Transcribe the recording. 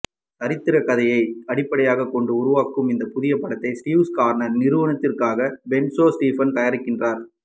சரித்திரக் கதையை அடிப்படையாகக் கொண்டு உருவாகும் இந்த புதிய படத்தை ஸ்டீவ்ஸ் கார்னர் நிறுவனத்திற்காக பொன்சே ஸ்டீபன் தயாரிக்கின்றார்